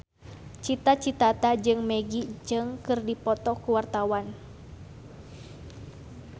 Cita Citata jeung Maggie Cheung keur dipoto ku wartawan